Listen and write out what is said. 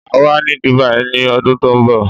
Máa wà ní Dubai ni ọdún tó ń bọ̀